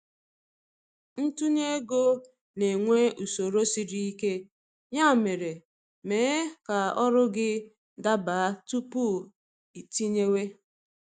Ntunye ego na-enwe usoro sịrị ike, ya mere, mee ka ọrụ gị daba tupu iitinyewe